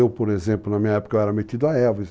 Eu, por exemplo, na minha época eu era metido a Elvis.